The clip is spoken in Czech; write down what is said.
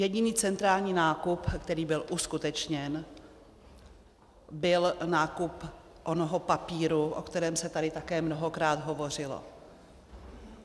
Jediný centrální nákup, který byl uskutečněn, byl návrh onoho papíru, o kterém se tady také mnohokrát hovořilo.